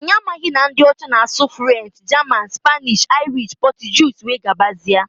Anyi amaghi na ndi ọcha na asụ French, German, Spanish, Irish, Portuguese were gabazia.